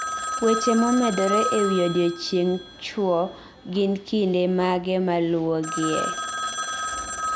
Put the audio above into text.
Weche momedore e wi odiechieng chwo gin kinde mage maluwogie?